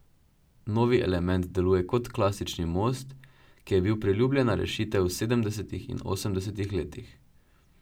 Novi element deluje kot klasični most, ki je bil priljubljena rešitev v sedemdesetih in osemdesetih letih.